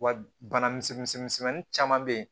Wa bana misɛnmisɛmisɛnnin caman be yen